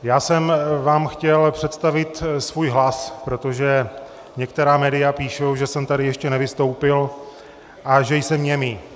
Já jsem vám chtěl představit svůj hlas, protože některá média píší, že jsem tady ještě nevystoupil a že jsem němý.